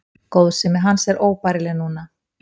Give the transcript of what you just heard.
Góðsemi hans er óbærileg núna.